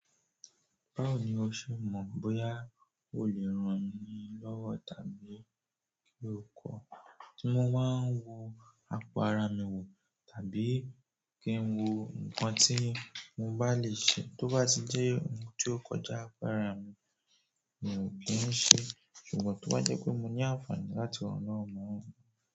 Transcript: Báwo ni o ṣe mọ̀ bóyá o lè rán ni lọ́wọ́ tàbí kí ó kọ́? Tí mọ́ báa wo àpò ara mi wò, tàbí kí ń wo nǹkan tí mo bá lè ṣe, tó bá ti jẹ́ ohun tí ó kọjá àpò ara mi, mi ò kí ń ṣe é. Ṣùgbọ́n tó bá jẹ́ pé mo ní àǹfààní láti ran náà.